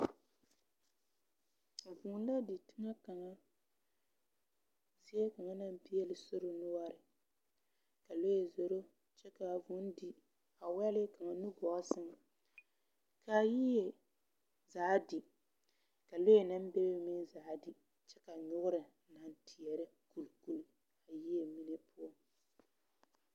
Vūū la di teŋɛ kaŋa naŋ peɛle sori noɔreŋ.ka lɔɛ zoro kyɛ kaa vūū di a wɛle nugɔɔ sɛŋ. Kaa yie zaa di kaa lɔɛ naŋ bebe meŋ zaa di Kyɛ ka noɔre aŋ kyeɛrɛ gbou gbou a yie mine poɔ.